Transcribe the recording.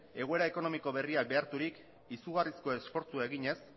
egoera ekonomiko berria beharturik izugarrizko esfortzua eginez